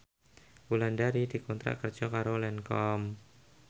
Wulandari dikontrak kerja karo Lancome